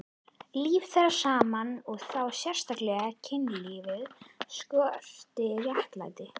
Líf þeirra saman og þá sérstaklega kynlífið skortir réttlætingu.